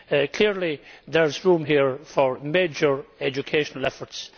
Clearly there is room here for major educational efforts.